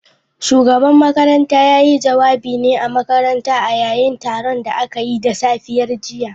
Shugaban makarantar ya yi jawabi ne a makarantar a yayin taron da aka yi da safiyar jiya.